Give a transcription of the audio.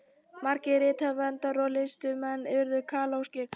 margir rithöfundar og listamenn urðu kaþólskir